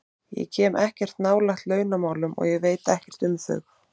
Ég kem ekkert nálægt launamálum og veit ekkert um þau.